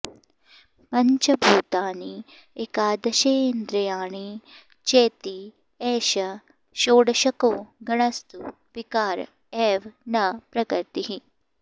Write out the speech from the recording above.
पञ्च भूतानि एकादशेन्द्रियाणि चेति एष षोडशको गणस्तु विकार एव न प्रकृतिः